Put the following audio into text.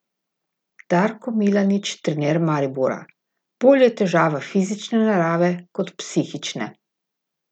Darko Milanič, trener Maribora: "Bolj je težava fizične narave kot psihične.